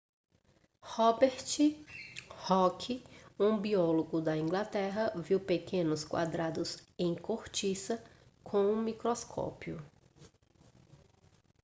robert hooke um biólogo da inglaterra viu pequenos quadrados em cortiça com um microscópio